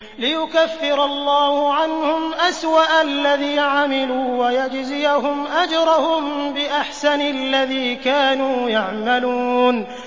لِيُكَفِّرَ اللَّهُ عَنْهُمْ أَسْوَأَ الَّذِي عَمِلُوا وَيَجْزِيَهُمْ أَجْرَهُم بِأَحْسَنِ الَّذِي كَانُوا يَعْمَلُونَ